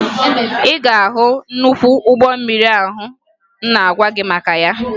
Ị ga-ahụ nnukwu ụgbọ mmiri ahụ m na-agwa gị maka ya